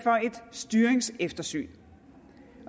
styringseftersyn